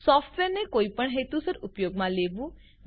સોફ્ટવેરને કોઈપણ હેતુસર ઉપયોગમાં લેવું